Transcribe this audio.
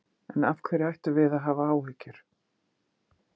En af hverju ættum við að hafa áhyggjur?